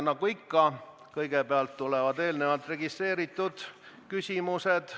Nagu ikka, kõigepealt tulevad eelnevalt registreeritud küsimused.